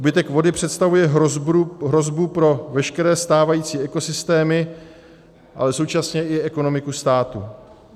Úbytek vody představuje hrozbu pro veškeré stávající ekosystémy, ale současně i ekonomiku státu.